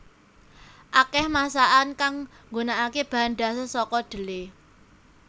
Akèh masakan kang nggunakaké bahan dhasar saka dhelé